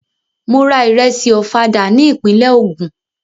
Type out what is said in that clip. Mò ra ìrẹṣì Ọ̀fadà ní ìpínlẹ̀ Ogun.